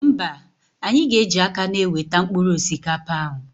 Mba, anyị ga eji aka na-eweta mkpụrụ osikapa ahụ